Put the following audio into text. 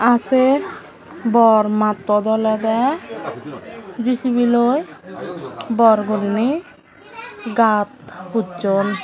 ar sey bor mattot olodey jesibi loi bor guriney gat husson.